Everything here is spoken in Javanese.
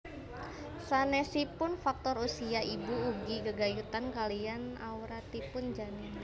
Sanésipun faktor usia ibu ugi gegayutan kaliyan awratipun janin